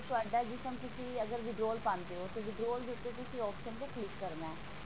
ਤੁਹਾਡਾ ਜਿਸ time ਤੁਸੀਂ ਅਗਰ withdraw ਪਾਂਦੇ ਹੋ ਤੇ ਤੁਸੀਂ withdraw ਵਿੱਚ option ਤੇ click ਕਰਨਾ